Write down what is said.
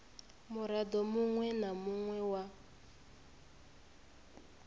muraḓo muṅwe na muṅwe wa